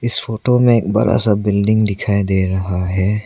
इस फोटो में एक बड़ा सा बिल्डिंग दिखाई दे रहा है।